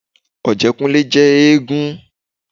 Ọ̀jẹ́kúnlé jẹ́ éégún